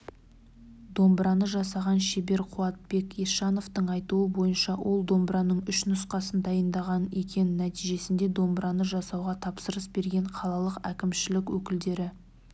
домбыраны жасаған шебер қуатбек есжановтың айтуы бойынша ол домбыраның үш нұсқасын дайындаған екен нәтижесінде домбыраны жасауға тапсырыс берген қалалық әкімшілік өкілдері